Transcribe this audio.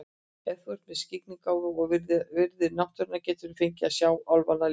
Ef þú ert með skyggnigáfu og virðir náttúruna geturðu fengið að sjá álfana líka.